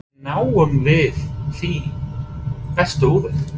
Hvernig náum við því besta úr þeim?